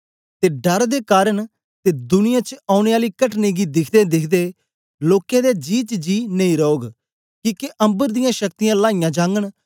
ते डर दे कारन ते दुनियां च औने आली कटने गी दिखदेदिखदे लोकें दे जी च जी नेई रौग किके अम्बर दियां शक्तियाँ लाईयां जागन